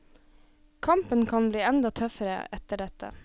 Kampen kan bli enda tøffere etter dette.